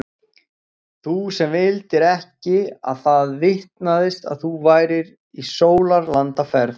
Þú sem vildir ekki að það vitnaðist að þú værir í sólarlandaferð.